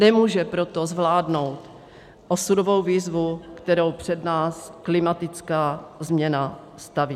Nemůže proto zvládnout osudovou výzvu, kterou před nás klimatická změna staví.